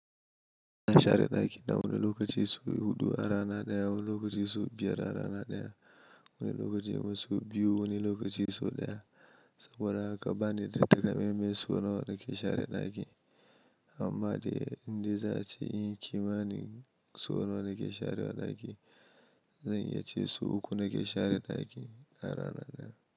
Na share naki na wani lokaci sau hudu a rana ɗaya, wani lokaci sau biyar a rana ɗaya, wani lokaci ma sau biyu, wani lokaci so ɗaya. Saboda ha ka ba ni da takamai mai so nawa nake share daki. Amma dai in dai za ace inyi ƙima ne so nawa nake share daki, zan iya ce so uku nake share daki a rana ɗaya.